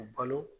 U balo